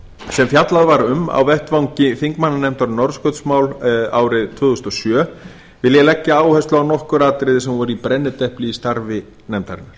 sem fjallað var um á vettvangi þingmannanefndar um norðurskautsmál árið tvö þúsund og sjö vil ég leggja áherslu á nokkur atriði sem voru í brennidepli í starfi nefndarinnar